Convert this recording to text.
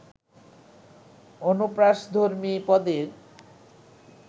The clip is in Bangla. অনুপ্রাসধর্মী পদের